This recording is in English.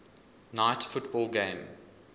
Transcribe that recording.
night football game